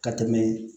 Ka tɛmɛ